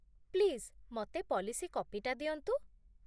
Please, ମତେ policy କପିଟା ଦିଅନ୍ତୁ ।